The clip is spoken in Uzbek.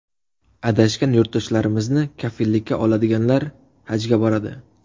Adashgan yurtdoshlarimizni kafillikka oladiganlar Hajga boradi.